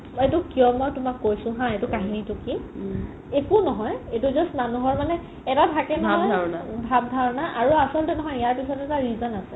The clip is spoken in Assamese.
এইটো কিয় মই তোমাক কৈছো হা এটো কাহিনিটো কি একো নহয় এইটো just মানুহৰ মানে এটা থাকে নহয় ভাব ধাৰনা আৰু আছলতে নহয় ইয়াৰ পিছত এটা reason আছে